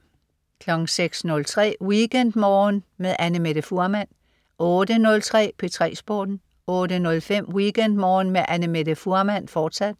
06.03 WeekendMorgen med Annamette Fuhrmann 08.03 P3 Sporten 08.05 WeekendMorgen med Annamette Fuhrmann, fortsat